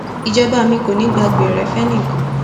ìjọba mi kò ní í gba gbẹrẹ fẹnì kan